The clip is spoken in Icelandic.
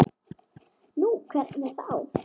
Nú, hvernig þá?